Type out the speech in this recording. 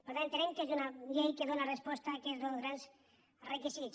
per tant entenem que és una llei que dóna resposta a aquests dos grans requisits